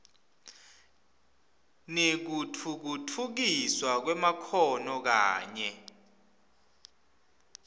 nekutfutfukiswa kwemakhono kanye